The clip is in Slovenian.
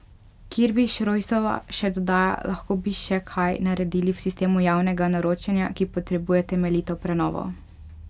Kirbiš Rojsova še dodaja: "Lahko bi še kaj naredili v sistemu javnega naročanja, ki potrebuje temeljito prenovo.